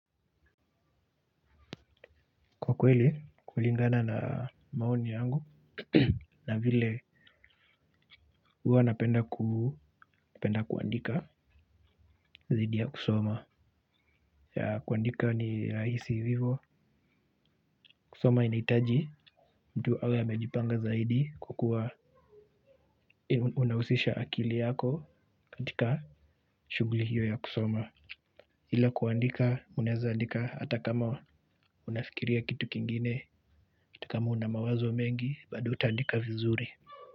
Kwa kweli, kulingana na maoni yangu na vile huwa napenda kuandika dhiidi ya kusoma. Yeah kuandika ni rahisi vivyo. Kusoma inaitaji mtu awe amejipanga zaidi kwakua unahusisha akili yako katika shughuli hiyo ya kusoma. Ila kuandika, unaweza andika hata kama unafikiria kitu kingine, hata kama unamawazo mengi, bado utaandika vizuri.